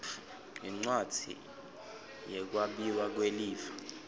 yincwadzi yekwabiwa kwelifa